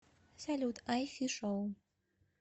салют ай фи шоу